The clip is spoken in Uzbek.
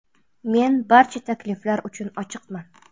Men barcha takliflar uchun ochiqman.